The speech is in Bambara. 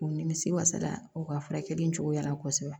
U nimisi wasala o ka furakɛli cogoya la kosɛbɛ